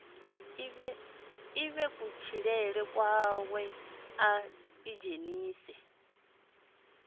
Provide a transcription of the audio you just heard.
ḓivhe kutshilele kwawe a ḓidzhenisa